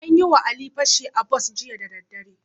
An yi wa Ali fashi a bas jiya daddadare.